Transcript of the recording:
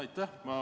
Aitäh!